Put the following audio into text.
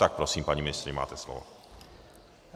Tak prosím, paní ministryně, máte slovo.